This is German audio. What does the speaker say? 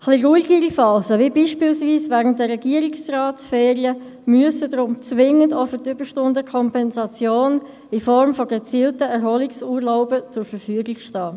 Etwas ruhigere Phasen wie beispielweise während der Regierungsratsferien müssen deshalb zwingend für die Überstundenkompensation in Form von gezielten Erholungsurlauben zur Verfügung stehen.